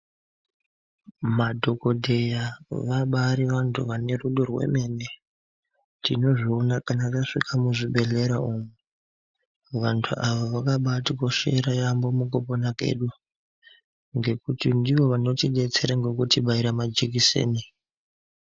Madhokodheya vabaari vantu vane rudo rwemene tinozviona kana tasvika muzvibhedhlera umwo, vantu ava vakabatikoshera yaemho mukupona kwedu ngekuti ndivo vanotibetsera kubaira majekiseni.